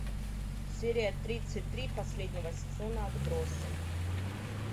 серия тридцать три последнего сезона отбросы